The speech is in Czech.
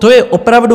To je opravdu...